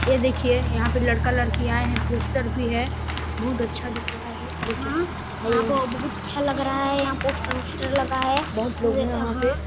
ए देखिए यहाँ पे लड़का लड़की आए है पोस्टर भी है बहुत अच्छा दिख रहा है देखने में बहुत अच्छा लग रहा है यहाँ पे पोस्टर ओसटर लगा है बहुत लोग हैं यहा पे--